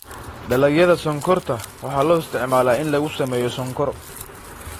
Dalagyada sonkorta waxaa loo isticmaalaa in lagu sameeyo sonkor.